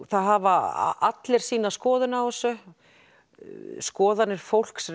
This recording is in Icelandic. það hafa allir sína skoðun á þessu skoðanir fólks